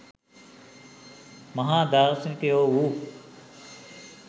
මහා දාර්ශනිකයෝ වූ